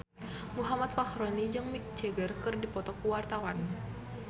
Muhammad Fachroni jeung Mick Jagger keur dipoto ku wartawan